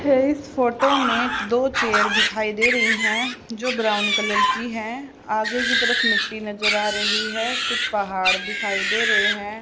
इस फोटो में दो चेयर दिखाई दे रही हैं जो ब्राउन कलर की है आगे की तरफ मिट्टी नजर आ रही है और कुछ पहाड़ दिखाई दे रहे हैं।